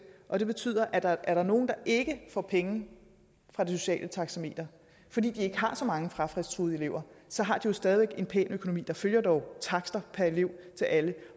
og det betyder at er er der nogle der ikke får penge fra det sociale taxameter fordi de ikke har så mange frafaldstruede elever så har de jo stadig væk en pæn økonomi der følger dog takster per elev til alle